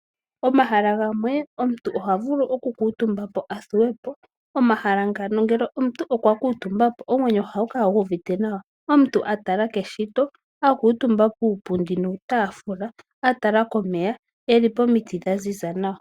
Omahala gamwe omuntu oha vulu oku kuuntumba athuwepo. Omahala ngano ngele omuntu okwa kuuntumba po omwenyo ohagu kala gu uvite nawa. Omuntu atala keshito a kuuntumba puupundi nuutafula a tala komeya eli pomiti dha ziza nawa.